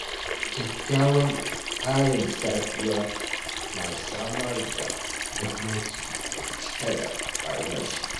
Kyakkyawan tsarin safiya na samar da yammaci mai cike da armashi.